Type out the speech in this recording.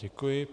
Děkuji.